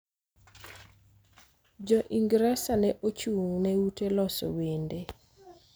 Jo Ingresa ne ochung� ne ute loso wende